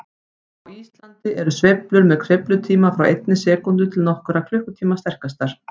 Á Íslandi eru sveiflur með sveiflutíma frá einni sekúndu til nokkurra klukkutíma sterkastar.